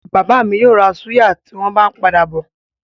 Bàbá mi yóò ra súyà tí wọ́n bá ń padà bọ̀.